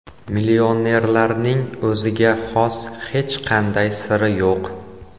Millionerlarning o‘ziga xos hech qanday siri yo‘q.